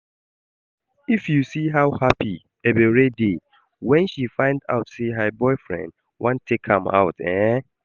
If you see how happy Ebere dey when she find out say her boyfriend wan take am out eh